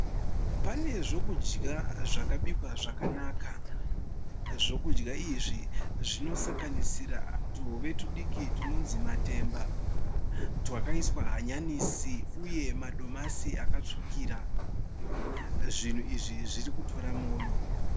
Pane zvokudya zvakabikwa zvakanaka, zvokudya izvi zvinosanganisira tuhove tudiki tunonzi matemba, twakaiswa hanyanisi uye madomasi akatsvukira, zvinhu izvi zviri kutora moyo.